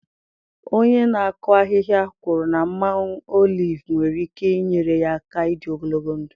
Onye na-akụ ahịhịa kwuru na mmanụ oliv nwere ike inyere ya aka ịdị ogologo ndụ.